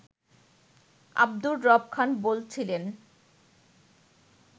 আব্দুর রব খান বলছিলেন